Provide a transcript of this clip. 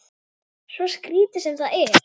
Svo skrítið sem það er.